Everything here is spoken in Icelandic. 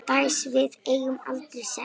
Dæs, við eigum aldrei séns!